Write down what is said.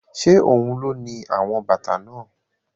Ṣé ohun ló ni àwọn bàtà náà?